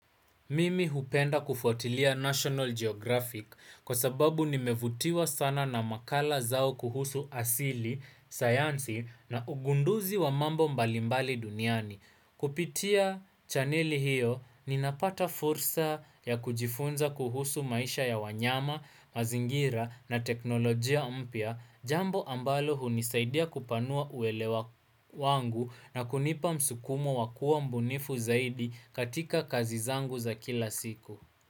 Mimi hupenda kufuatilia National Geographic kwa sababu nimevutiwa sana na makala zao kuhusu asili, sayansi na ugunduzi wa mambo mbalimbali duniani. Kupitia chaneli hiyo, ninapata fursa ya kujifunza kuhusu maisha ya wanyama, mazingira na teknolojia mpya, jambo ambalo hunisaidia kupanua uelewa wangu na kunipa msukumo wa kuwa mbunifu zaidi katika kazi zangu za kila siku.